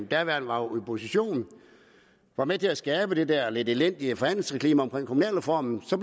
daværende opposition var med til at skabe det der lidt elendige forhandlingsklima omkring kommunalreformen så